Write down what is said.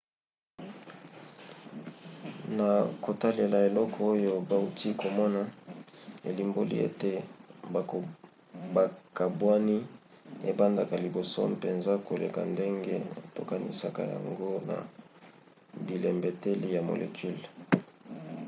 na kotalela eloko oyo bauti komona elimboli ete bokabwani ebandaka liboso mpenza koleka ndenge tokanisaka yango na bilembeteli ya molecule.